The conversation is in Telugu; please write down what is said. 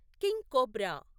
king cobra